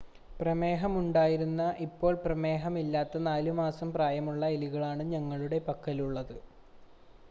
പ്രമേഹമുണ്ടായിരുന്ന ഇപ്പോൾ പ്രമേഹമില്ലാത്ത 4 മാസം പ്രായമുള്ള എലികളാണ് ഞങ്ങളുടെ പക്കലുള്ളത്